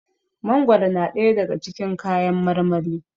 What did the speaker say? mangoro na daya daga cikin kayan marmari